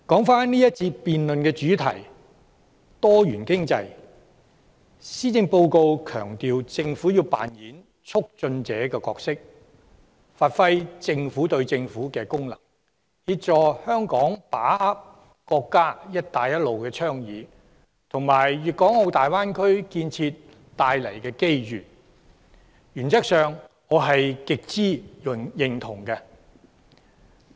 返回這辯論環節的主題：多元經濟。施政報告強調政府要扮演促進者的角色，發揮"政府對政府"的功能，協助香港把握國家"一帶一路"倡議及大灣區建設帶來的機遇，原則上我極之認同。